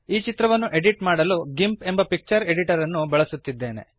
ಈ ಚಿತ್ರವನ್ನು ಎಡಿಟ್ ಮಾಡಲು ಗಿಂಪ್ ಎಂಬ ಪಿಕ್ಚರ್ ಎಡಿಟರ್ ಅನ್ನು ಬಳಸುತ್ತಿದ್ದೇನೆ